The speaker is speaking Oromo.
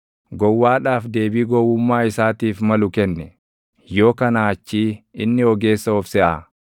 Gowwaadhaaf deebii gowwummaa isaatiif malu kenni; yoo kanaa achii inni ogeessa of seʼaa.